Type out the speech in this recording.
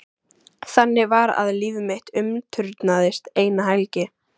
Þannig var að líf mitt umturnaðist eina helgi.